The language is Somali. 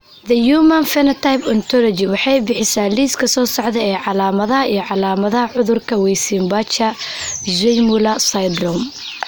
The Human Phenotype Ontology waxay bixisaa liiska soo socda ee calaamadaha iyo calaamadaha cudurka Weissenbacher Zweymuller syndrome.